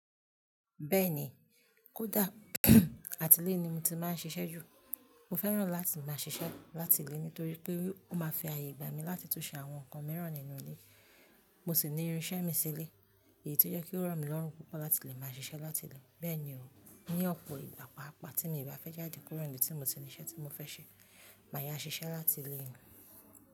Bẹ́ẹ̀ni, kódà àti ilé ni mo ti máa ń ṣiṣẹ́ jù. Mo fẹ́ràn láti máa ṣiṣẹ́ láti ilé nítorí pé ó máa fi àyè gba mi láti tún ṣe àwọn nǹkan mìíràn nínú ilé, mo sì ní irinṣẹ́ mi sílé, èyí tó jẹ́ kí ó rọ̀ mí lọ́rùn púpọ̀ láti lè máa ṣiṣẹ́ láti ilé. Bẹ́ẹ̀ni o, ní ọ̀pọ̀ ìgbà pápà tí mi bá fẹ́ jáde kúrò níbi tí mo ti ní ṣe iṣẹ́ tí mo fẹ́ ṣe, màá yá ṣiṣẹ́ láti ilé ni.